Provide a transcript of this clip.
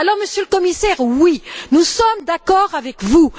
Alors, Monsieur le Commissaire, oui, nous sommes d'accord avec vous.